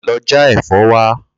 Lo̩ já è̩fó̩ wa!